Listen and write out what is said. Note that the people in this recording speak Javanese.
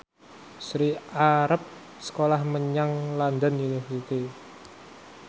Sri arep sekolah menyang London University